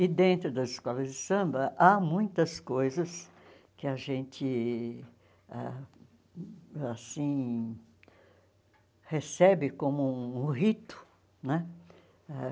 E dentro das escolas de samba, há muitas coisas que a gente ah assim recebe como um rito né ãh.